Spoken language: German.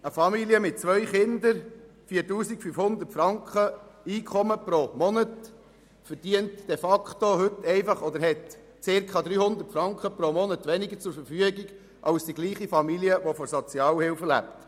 Eine Familie mit zwei Kindern und einem Einkommen von 4500 Franken pro Monat hat heute de facto circa 300 Franken pro Monat weniger zur Verfügung als die gleiche Familie, welche von der Sozialhilfe lebt.